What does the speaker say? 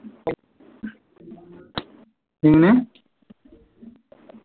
എങ്ങനെ